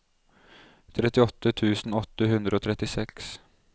trettiåtte tusen åtte hundre og trettiseks